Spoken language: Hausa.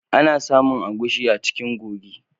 Ana samon agushi a cikin gogi.